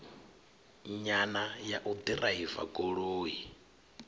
nyana ya u ḓiraiva goloi